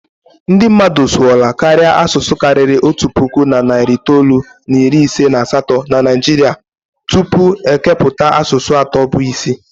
Ndị mmadụ sụọla karịa asụsụ karịrị otu puku na narị itoolu na iri ise na asatọ na Naijiria tupu e kepụta asụsụ atọ bụ isi.